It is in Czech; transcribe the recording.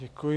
Děkuji.